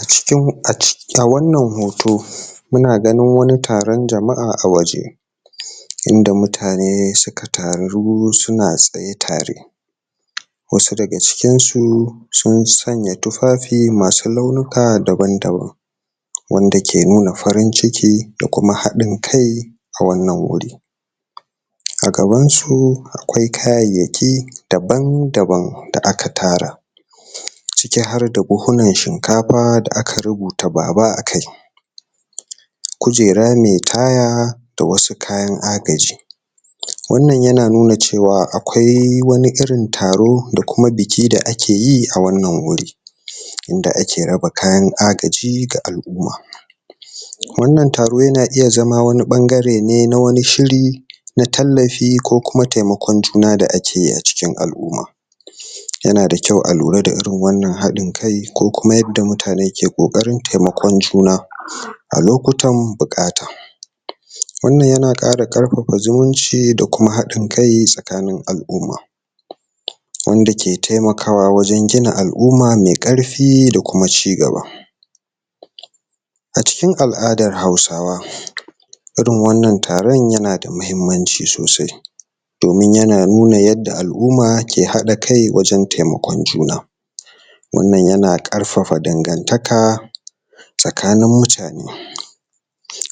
A cikin a wannan hoto muna ganin wani taron jama'a a waje inda mutane suka taru suna tsaye tare wasu daga cikinsu sun sanya tufafi masu launuka daban-daban wanda ke nuna farin-ciki da kuma haɗin kai a wannan wuri a gabansu akwai kayayaki daban-daban da aka tara ciki har da buhunan shinkafa da aka rubuta baba a kai kujera mai taya da wasu kayan agaji wannan yana nuna cewa akwai wani irin taro da kuma biki da akeyi a wannan wuri inda ake raba kayan agaji ga al'uma wannan taro yana iya zama wani ɓangare ne na wani shiri na tallafi ko kuma taimakon juna da akeyi a cikin al'uma yana da kyau a lura da irin wannan haɗin kai ko kuma yadda mutane ke ƙoƙarin taimakon juna a loutan buƙata wannan yana ƙara ƙarfafa zumunci a kuma haɗin kai tsakanin al'uma wanda ke taiakawa wajen gina al'uma mai ƙarfi da kuma cigaba a cikin al'adar hausawa irin wannan taron yana da mahimmanci sosai domin yana nuna yanda al'uma ke haɗa kai wajen taimakon juna wannan yana ƙarfafa dangantaka tsakanin mutane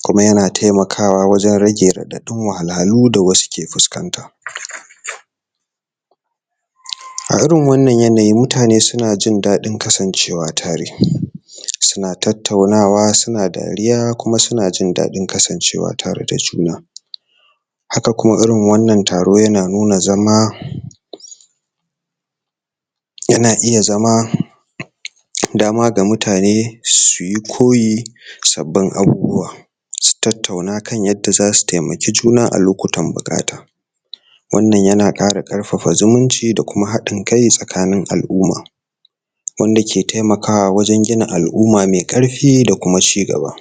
kuma yana taimakawa wajen rage raɗaɗin wahalhalun da wasu ke fuskanta a irin wannan yanayin mutane suna jin dadin kasancewa tare suna tataunawa suna dariya kuma suna jin daɗin kasancewa tare da juna haka kuma irin wannan taro yana nuna zama yana iya zama dama ga mutane su yi koyi sabin abubuwa su tattauna kan yadda za u taimaki juna a lokutan bukata wannan yana ƙara ƙarfafa zumunci da kuma haɗin kai tsakanin al'uma wanda ke taimaawa wajen gina al'uma mai ƙarfi da kuma cigaba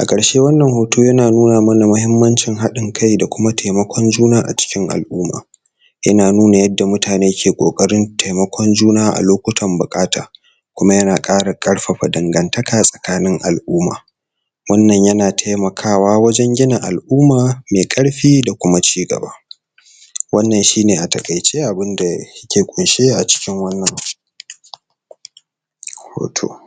a ƙarshe wannan hoto yana nuna mana mahimmancin haɗin kai da kuma taimakon juna a cikin al'uma yana nuna yadda mutane ke ƙoƙarin taimakon juna a lokutan buƙata kuma yana ƙara ƙarfafa dangantaka tsakanin al'uma wannan yana taimakawa wajen gina al'uma mai ƙarfi da kuma cigaba wannan shine a taƙaice abinda ke ƙunshe a cikin wannan hoto